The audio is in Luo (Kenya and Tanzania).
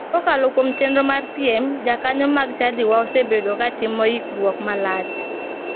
Kokalo kuom chenro mar piem, jokanyo mag chadiwa osebedo ka timo yikruok malach.